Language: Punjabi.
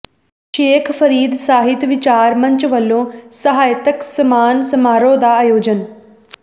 ਸ਼ੇਖ ਫਰੀਦ ਸਾਹਿਤ ਵਿਚਾਰ ਮੰਚ ਵੱਲੋਂ ਸਾਹਿਤਕ ਸਨਮਾਨ ਸਮਾਰੋਹ ਦਾ ਆਯੋਜਨ